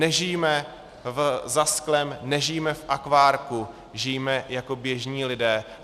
Nežijme za sklem, nežijme v akvárku, žijme jako běžní lidé.